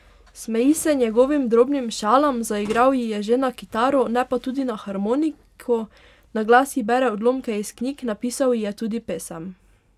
Smeji se njegovim drobnim šalam, zaigral ji je že na kitaro, ne pa tudi na harmoniko, na glas ji bere odlomke iz knjig, napisal ji je tudi pesem.